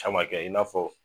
Camakɛ i n'a fɔ